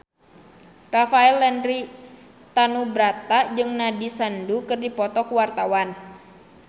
Rafael Landry Tanubrata jeung Nandish Sandhu keur dipoto ku wartawan